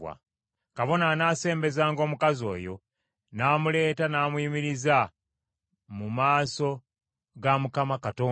“Kabona anaasembezanga omukazi oyo n’amuleeta n’amuyimiriza mu maaso ga Mukama Katonda.